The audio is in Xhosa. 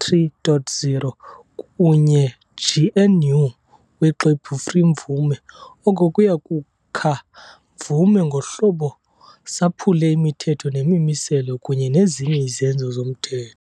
3.0 kunye GNU Woxwebhu Free mvume, oko uya kukha mvume ngohlobo saphule imithetho nemimiselo kunye nezinye izenzo zomthetho.